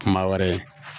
Kuma wɛrɛ